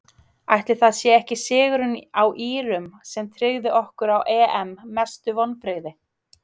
Ætli það sé ekki sigurinn á írum sem tryggði okkur á EM Mestu vonbrigði?